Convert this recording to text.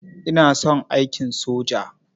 Ina son aikin soja.